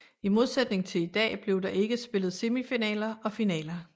I modsætning til i dag blev der ikke spillet semifinaler og finaler